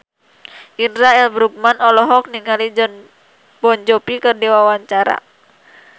Indra L. Bruggman olohok ningali Jon Bon Jovi keur diwawancara